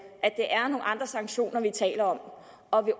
at andre sanktioner vi taler om og vil